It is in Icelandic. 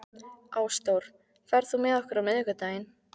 Ásdór, ferð þú með okkur á miðvikudaginn?